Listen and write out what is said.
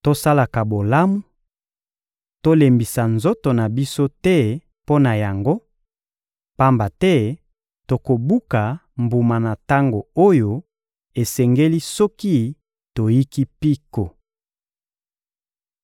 Tosalaka bolamu; tolembisa nzoto na biso te mpo na yango, pamba te tokobuka mbuma na tango oyo esengeli soki toyiki mpiko.